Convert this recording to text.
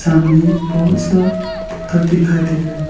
सामने बहुत सा पत्थर दिखाई दे रहा।